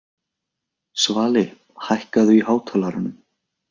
Svali, hækkaðu í hátalaranum.